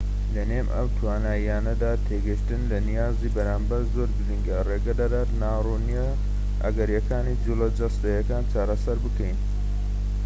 لەنێو ئەم توانایانەدا تێگەشتن لە نیازی بەرامبەر زۆر گرنگە ڕێگەدەدات ناڕوونیە ئەگەریەکانی جوڵە جەستەییەکان چارەسەر بکەین